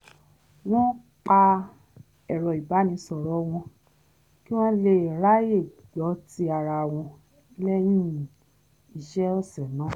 wọ́n pa ẹ̀rọ ìbánisọ̀rọ̀ wọn kí wọ́n lè ráyè gbọ́ ti ara wọn lẹ́yìn iṣẹ́ ọ̀sẹ̀ náà